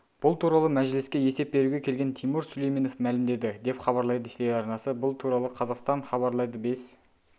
бұл туралы мәжіліске есеп беруге келген тимур сүлейменов мәлімдеді деп хабарлайды телеарнасы бұл туралы қазақстанхабарлайды бес